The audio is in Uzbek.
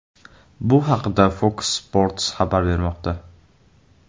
Bu haqda Fox Sports xabar bermoqda .